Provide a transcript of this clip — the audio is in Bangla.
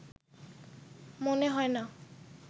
মনে হয় না